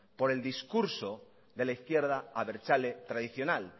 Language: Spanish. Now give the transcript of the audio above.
por el discurso de la izquierda abertzale tradicional